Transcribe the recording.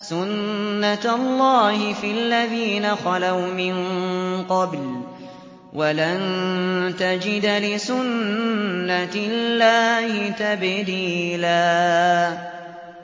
سُنَّةَ اللَّهِ فِي الَّذِينَ خَلَوْا مِن قَبْلُ ۖ وَلَن تَجِدَ لِسُنَّةِ اللَّهِ تَبْدِيلًا